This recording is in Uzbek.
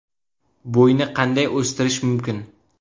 Bo‘yni qanday o‘stirish mumkin?.